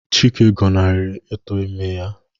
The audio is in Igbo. Chikezie gọnarịrị ito ime ya